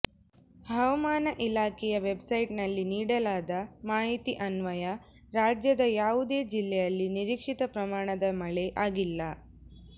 ಹವಾಮಾನ ಇಲಾಖೆಯ ವೆಬ್ಸೈಟ್ನಲ್ಲಿ ನೀಡಲಾದ ಮಾಹಿತಿ ಅನ್ವಯ ರಾಜ್ಯದ ಯಾವುದೇ ಜಿಲ್ಲೆಯಲ್ಲಿ ನಿರೀಕ್ಷಿತ ಪ್ರಮಾಣದ ಮಳೆ ಆಗಿಲ್ಲ